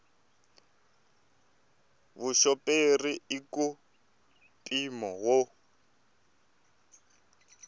vuxoperi i ka mpimo wo